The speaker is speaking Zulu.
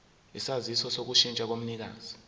isaziso sokushintsha komnikazi